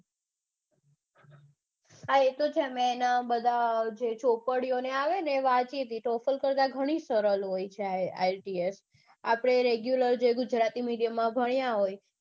આ એતો છે મેં એના જે ચોપડીઓને બધા આવે છે ને વાંચી તી total કરતા ગણી સરળ હોય છે ielts